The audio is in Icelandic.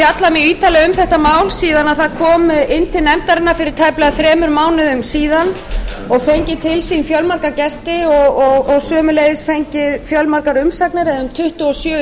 ítarlega um þetta mál síðan það kom inn til nefndarinnar fyrir tæplega þremur mánuðum síðan og fengið til sín fjölmarga gesti og sömuleiðis fengið fjölmargar umsagnir eða